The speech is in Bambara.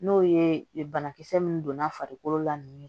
N'o ye banakisɛ min donna farikolo la